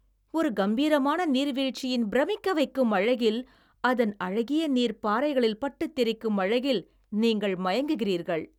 ஒரு கம்பீரமான நீர்வீழ்ச்சியின் பிரமிக்க வைக்கும் அழகில், அதன் அழகிய நீர் பாறைகளில் பட்டுத் தெரிக்கும் அழகில் நீங்கள் மயங்குகிறீர்கள்.